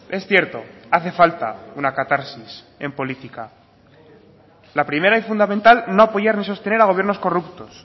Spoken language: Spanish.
es cierto hace falta una catarsis en política la primera y fundamental no apoyar ni sostener a gobiernos corruptos